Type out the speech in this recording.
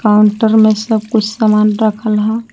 Counter में सब कुछ सामान रखल ह ।